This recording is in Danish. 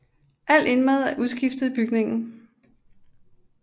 Alt indmad er udskiftet i bygningen